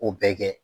O bɛɛ kɛ